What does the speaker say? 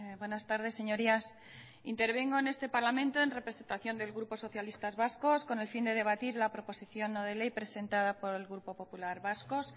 buenas tardes señorías intervengo en este parlamento en representación del grupo socialistas vascos con el fin de debatir la proposición no de ley presentada por el grupo popular vasco